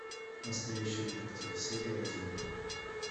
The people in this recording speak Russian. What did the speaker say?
настоящий детектив серия один